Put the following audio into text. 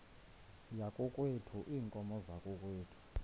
yakokwethu iinkomo zakokwethu